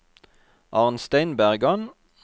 Arnstein Bergan